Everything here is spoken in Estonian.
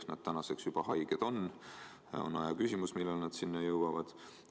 Need inimesed on juba haiged ning on aja küsimus, millal nad haiglasse jõuavad.